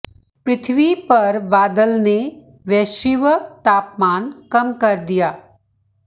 पृथ्वी पर बादल ने वैश्विक तापमान कम कर दिया